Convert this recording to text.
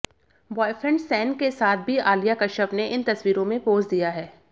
boyfriend Shane के साथ भी आलिया कश्यप ने इन तस्वीरों में पोज दिया है